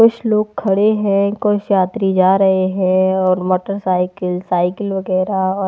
कुछ लोग खड़े हैं कुछ यात्री जा रहें हैं और मोटरसाइकिल साइकिल वगैरा अ--